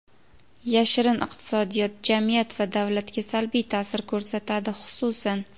yashirin iqtisodiyot jamiyat va davlatga salbiy ta’sir ko‘rsatadi, xususan:.